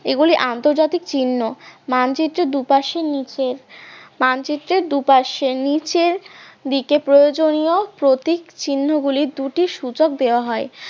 এগুলি আন্তর্জাতিক চিহ্ন, মানচিত্রের দুপাশের নিচে মানচিত্রে দুপাশের নিচের দিকে প্রয়োজনীয় প্রতীক চিহ্ন গুলি দুটি সূচক দেওয়া হয়